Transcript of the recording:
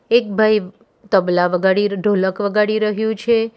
એક ભાઈ તબલા વગાડી ર્ ઢોલક વગાડી રહ્યુ છે.